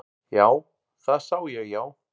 Já, það sá ég já.